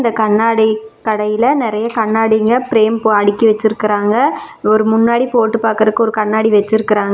இந்த கண்ணாடி கடையில நெறைய கண்ணாடிங்க ப்ரேம் அடுக்கி வச்சிருக்காங்க ஒரு முன்னாடி போட்டு பாக்குறதுக்கு ஒரு கண்ணாடி வச்சிருக்காங்க.